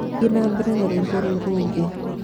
Thiĩ na mbere na rwĩmbo rũu rũngĩ